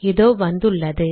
இதோ வந்துள்ளது